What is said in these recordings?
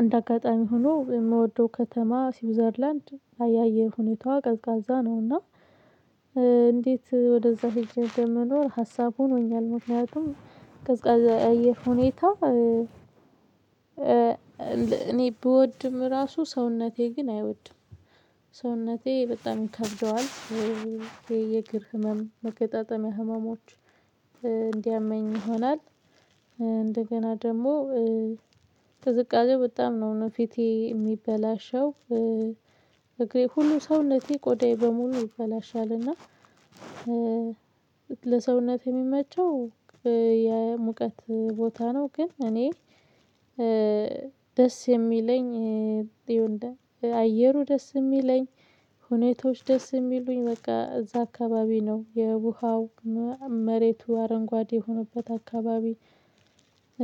እንደ አጋጣሚ ሆኖ የምወደው ከተማ ስዊዘርላንድ የአየር ሁኔታዋ ቀዝቃዛ ነውና። እንዴት ወደዛ ሄጄ እንደምኖር ሀሳብ ሆኖኛል ምክኒያቱም ቀዝቃዛ የአየር ሁኔታ። እኔ ብወድም ራሱ ሰውነቴ ግን አይወድም። ሰውነቴ በጣም ይከብደዋል። የእግር ህመም መገጣጠሚያ ህመሞች እንዲያመኝ ይሆናል። እንደገና ደግሞ ትዝቃዜው በጣም ነው እኔ ፊቴ የሚበላሸው እግሬ ሁሉ ሰውነቴ ቆዳዬ በሙሉ ይበላሻል። እና ለሰውነት የሚመቸው የሙቀት ቦታ ነው። ግን እኔ ደስ የሚለኝ አየሩ ደስ የሚለኝ ሁኔታዎች ደስ የሚሉኝ በቃ እዛ አካባቢ ነው። የውሃው መሬቱ አረንጓዴ የሆነበት አካባቢ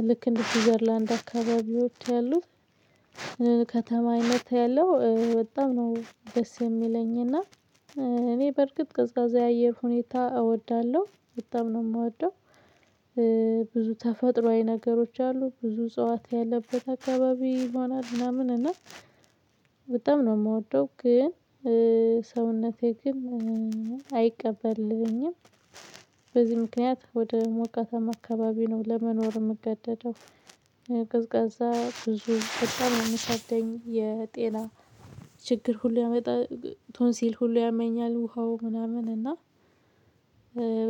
ልክ እንደ ስዊዘርላንድ አካባቢ ወጥተው ያሉት። ከተማ አይነት ያለው በጣም ነው ደስ የሚለኝ እና እኔ በርግጥ ቀዝቃዛ የአየር ሁኔታ እወዳለሁ በጣም ነው የምወደው። ብዙ ተፈጥሮአዊ ነገሮች አሉ ብዙ እጸዋት ያለበት አካባቢ ሆናል ምናምን እና በጣም ነው የምወደው። ግን ሰውነቴ ግን አይቀበልልኝም። በዚህ ምክንያት ወደ ሞቃታማ አካባቢ ነው ለመኖር የምገደደው። ቀዝቃዛ በጣም የሚከብደኝ የጤና ችግር ሁሉ ያመጣ ቶንሲል ሁሉ ያመኛል ውሃው ምናምን እና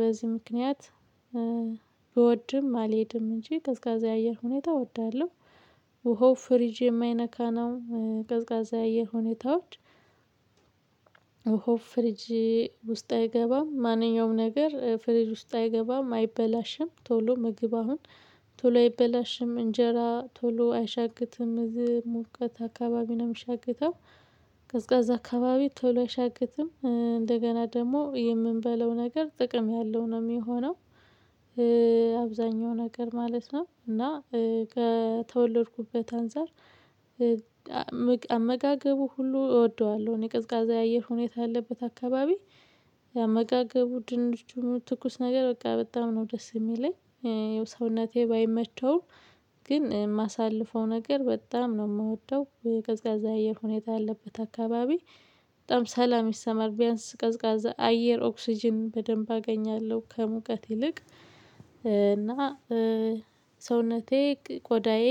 በዚህ ምክንያት ብወድም አልሄድም እንጂ ቀዝቃዛ የአየር ሁኔታ እወዳለሁ። ውሃው ፍሪጅ የማይነካ ነው ቀዝቃዛ ያየር ሁኔታዎች። ውሃው ፍሪጅ ውስጥ አይገባም ማንኛውም ነገር ፍሪጅ ውስጥ አይገባም አይበላሽም ቶሎ ምግብ አሁን ቶሎ አይበላሽም። እንጀራ ቶሎ አይሻግትም እዚህ ሙቀት አካባቢውን አምሻግተው ቀዝቃዛ አካባቢ ቶሎ አይሻግትም እንደገና ደግሞ የምንበላው ነገር ጥቅም ያለው ነው የሚሆነው። አብዛኛው ነገር ማለት ነው። እና ከተወለድኩበት አንፃር አመጋገቡ ሁሉ እወደዋለሁ። እኔ ቀዝቃዛ የአየር ሁኔታ ያለበት አካባቢ አመጋገቡ ድንቹ ትኩስ ነገር በቃ በጣም ነው ደስ የሚለኝ። ሰውነቴ ባይመቸውም ግን የማሳልፈው ነገር በጣም ነው የምወደው። ቀዝቃዛ አየር ሁኔታ ያለበት አካባቢ በጣም ሰላም ይሰማል ቢያንስ ቀዝቃዛ አየር ኦክስጅን በደንብ አገኛለሁ። ከሙቀት ይልቅ እና ሰውነቴ ቆዳዬ